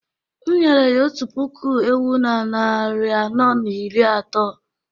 M’nyere ya otu puku ewu na narị anọ na iri atọ